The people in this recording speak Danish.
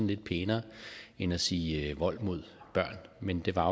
lidt pænere end at sige vold mod børn men det var